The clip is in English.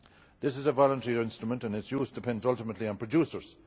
This is a voluntary instrument and its use depends ultimately on producers.